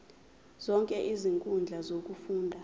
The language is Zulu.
zonke izinkundla zokufunda